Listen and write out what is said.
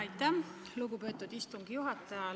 Aitäh, lugupeetud istungi juhataja!